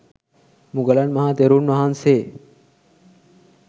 මුගලන් මහ තෙරුන් වහන්සේ